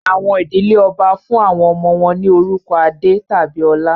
Àwọn ìdí ọbá fún àwọn ọmọ wọ́n ní orúkọ Adé tàbí Ọlá